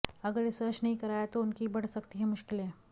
अगर रिसर्च नहीं कराया तो उनकी बढ़ सकती है मुश्किलें